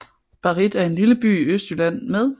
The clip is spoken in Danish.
Barrit er en lille by i Østjylland med